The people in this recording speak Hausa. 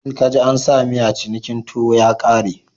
In ka ji a sa miya cinikin tuwo ya kare.